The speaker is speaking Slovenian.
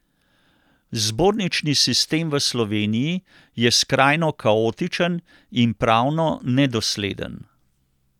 Zbornični sistem v Sloveniji je skrajno kaotičen in pravno nedosleden.